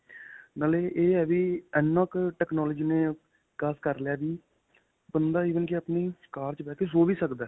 ਨਾਲੇ ਇਹ ਹੈ ਵੀ ਇੰਨਾ ਕੁ technology ਨੇ ਵਿਕਾਸ ਕਰ ਲਿਆ ਵੀ ਬੰਦਾ even ਕਿ ਆਪਣੀ ਕਾਰ 'ਚ ਬੈਕੇ ਸੋ ਵੀ ਸਕਦਾ